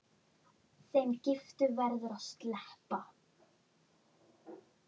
Þeim giftu verður að sleppa.